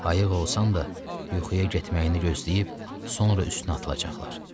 Ayıq olsan da yuxuya getməyini gözləyib, sonra üstünə atılacaqlar.